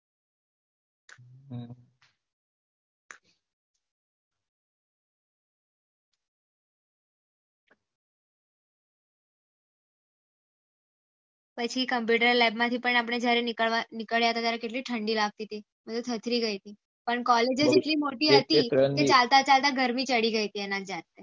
તય થી computer lab માં થી આપડે જયારે નીકળયા હતા ત્યારે કેટલી ઠંડી લગતી હતી મેં તો થત રી ગયેલી પણ કોલેજ જ કેટલી મોટી હતી કે ચાલતા ચાલતા ગરમી ચડી ગયી હતી